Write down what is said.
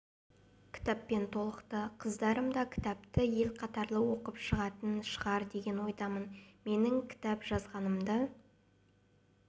кітаппен толықты қыздарым да кітапты ел қатарлы оқып шығатын шығар деген ойдамын менің кітап жазғанымды